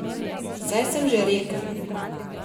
Saj sem že rekel.